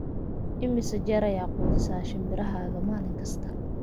imise jeer ayaa quudisaa shinbirahaaga maalin kasta